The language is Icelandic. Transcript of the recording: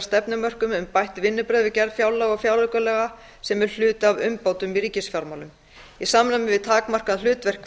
stefnumörkun um bætt vinnubrögð við gerð fjárlaga og fjáraukalaga sem er hluti af umbótum í ríkisfjármálum í samræmi við takmarkað hlutverk